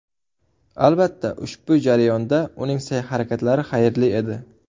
Albatta, ushbu jarayonda uning sa’y-harakatlari xayrli edi.